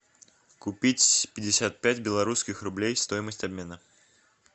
купить пятьдесят пять белорусских рублей стоимость обмена